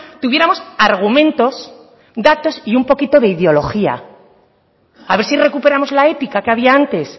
tuviéramos argumentos datos y un poquito de ideología a ver si recuperamos la ética que había antes